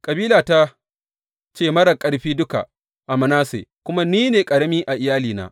Kabilata ce marar ƙarfi duka a Manasse, kuma ni ne ƙarami a iyalina.